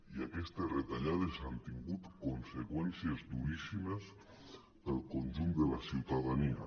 i aques·tes retallades han tingut conseqüències duríssimes pel conjunt de la ciutadania